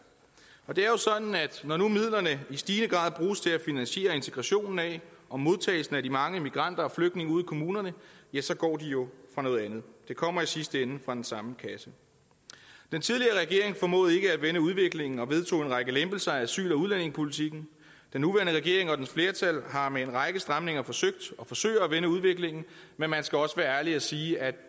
det er jo sådan at når nu midlerne i stigende grad bruges til at finansiere integrationen af og modtagelsen af de mange migranter og flygtninge ude i kommunerne ja så går de jo fra noget andet de kommer i sidste ende fra den samme kasse den tidligere regering formåede ikke at vende udviklingen og vedtog en række lempelser af asyl og udlændingepolitikken den nuværende regering og dens flertal har med en række stramninger forsøgt og forsøger at vende udviklingen men man skal også være ærlig og sige at